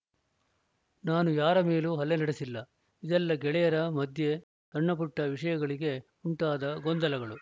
ನಾನು ಯಾರ ಮೇಲೂ ಹಲ್ಲೆ ನಡೆಸಿಲ್ಲ ಇದೆಲ್ಲ ಗೆಳೆಯರ ಮಧ್ಯೆ ಸಣ್ಣಪುಟ್ಟವಿಷಯಗಳಿಗೆ ಉಂಟಾದ ಗೊಂದಲಗಳು